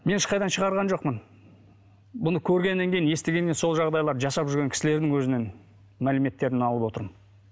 мен ешқайдан шығарған жоқпын бұны көргеннен кейін естігеннен сол жағдайларды соны жасап жүрген кісілердің өзінен мәліметтерін алып отырмын